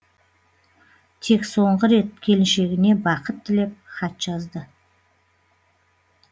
тек соңғы рет келіншегіне бақыт тілеп хат жазды